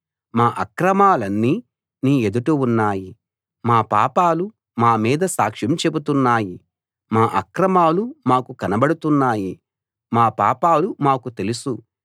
మా అక్రమాలన్నీ నీ ఎదుట ఉన్నాయి మా పాపాలు మామీద సాక్ష్యం చెబుతున్నాయి మా అక్రమాలు మాకు కనబడుతున్నాయి మా పాపాలు మాకు తెలుసు